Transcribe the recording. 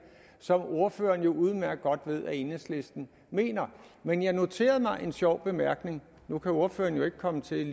som ordføreren jo udmærket godt ved at enhedslisten mener men jeg noterede mig en sjov bemærkning nu kan ordføreren jo ikke komme til